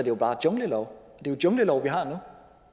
jo bare junglelov er jo junglelov vi har nu